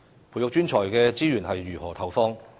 培育專才的資源應如何投放？